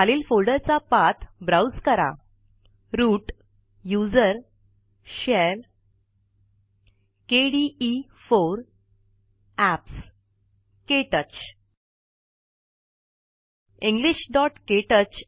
खालील फोल्डरचा path browse कराRoot gt USR gt share GT केडीई4 gt एप्स gt क्टच